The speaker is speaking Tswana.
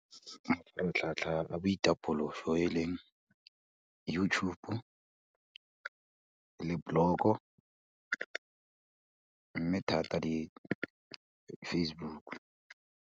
Mafaratlhatlha a boitapološo e leng, YouTube, le blog-o, mme thata le Facebook.